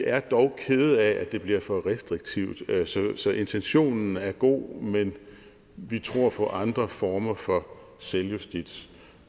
er dog kede af at det bliver for restriktivt så intentionen er god men vi tror på andre former for selvjustits